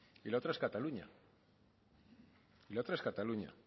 y la otra es cataluña